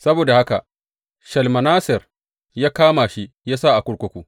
Saboda haka Shalmaneser ya kama shi ya sa a kurkuku.